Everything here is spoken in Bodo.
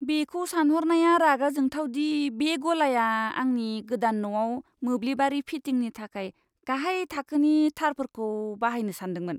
बेखौ सानहरनाया रागा जोंथाव दि बे गलाया आंनि गोदान न'आव मोब्लिबारि फिटिंनि थाखाय गाहाय थाखोनि थारफोरखौ बाहायनो सान्दोंमोन!